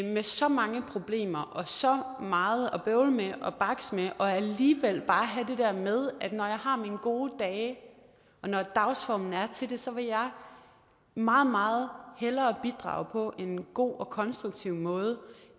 med så mange problemer og så meget at bøvle med og bakse med og alligevel bare have det der med at jeg har mine gode dage og når dagsformen er til det så vil jeg meget meget hellere bidrage på en god og konstruktiv måde